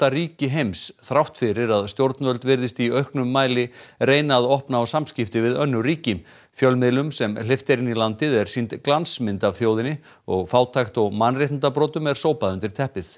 ríki heims þrátt fyrir að stjórnvöld virðist í auknum mæli reyna að opna á samskipti við önnur ríki fjölmiðlum sem hleypt er inn í landið er sýnd glansmynd af þjóðinni og fátækt og mannréttindabrotum er sópað undir teppið